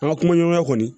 An ka kumaɲɔgɔnya kɔni